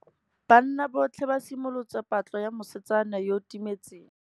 Banna botlhê ba simolotse patlô ya mosetsana yo o timetseng.